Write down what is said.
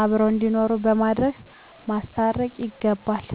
አብረዉ እንዲኖሩ በማድረግ ማስታረቅ ይገባል